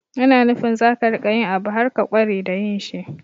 Yana nufin za ka riƙa yin abu har ka ƙware da yin shi.